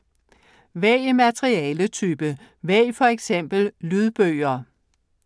Vælg materialetype: vælg for eksempel lydbøger